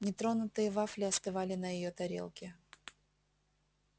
нетронутые вафли остывали на её тарелке